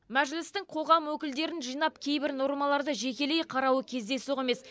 мәжілістің қоғам өкілдерін жинап кейбір нормаларды жекелей қарауы кездейсоқ емес